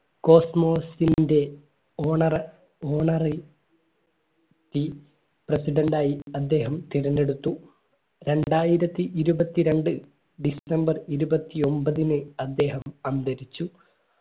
cosmos ന്റെ honour ഓണറിൽ പി president ആയി അദ്ദേഹം തിരഞ്ഞെടുത്തു രണ്ടായിരത്തി ഇരുപത്തിരണ്ട് december ഇരുപത്തിഒൻമ്പതിന് അദ്ദേഹം അന്തരിച്ചു